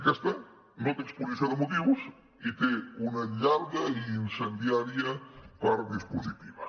aquesta no té exposició de motius i té una llarga i incendiària part dispositiva